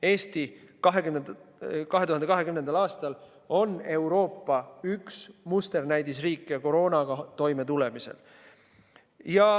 Eesti oli 2020. aastal üks Euroopa musterriike koroonaga toimetulemisel.